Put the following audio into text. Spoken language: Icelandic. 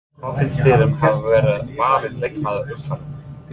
Hvað finnst þér um að hafa verið valin leikmaður umferðarinnar?